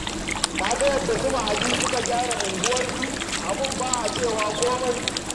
Ka ga yadda su Mahadi suka gyara unguwarsu? Abin ba a cewa komai